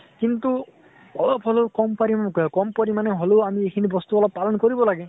কিন্তু অলপ হলেও কম পৰিমান কম পৰিমানে হলেও আমি এইখিনি বস্তু অলপ পালন কৰিব লাগে।